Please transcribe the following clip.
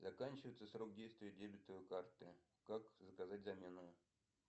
заканчивается срок действия дебетовой карты как заказать замену